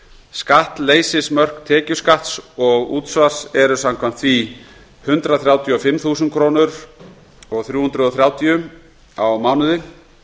skattleysismörk tekjuskatts og útsvars eru samkvæmt því hundrað þrjátíu og fimm þúsund þrjú hundruð þrjátíu krónur á mánuði